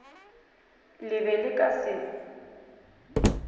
le be le ka se